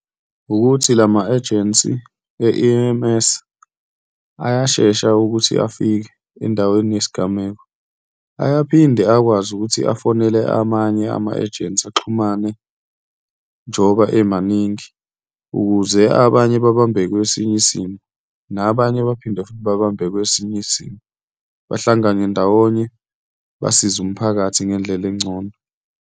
Wukuthi lama-agency e-E_M_S ayashesha ukuthi afike endaweni yesigameko, ayaphinde akwazi ukuthi afonele amanye ama-angency axhumane, njengoba emaningi, ukuze abanye babambe kwesinye isimo nabanye baphinde futhi babambe kwesinye isimo, bahlangane ndawonye, basize umphakathi ngendlela engcono.